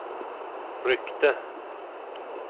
ryckte